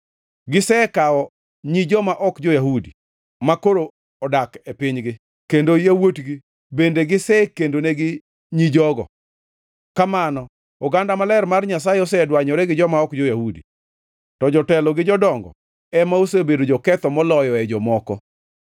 Gisekawo nyi joma ok jo-Yahudi, makoro odak e pinygi, kendo yawuotgi bende gisekendonegi nyi jogo. Kamano, oganda maler mar Nyasaye osedwanyore gi joma ok jo-Yahudi. To jotelo gi jodongo ema osebedo joketho moloyoe jomoko.”